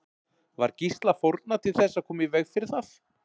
Var Gísla fórnað til þess að koma í veg fyrir það?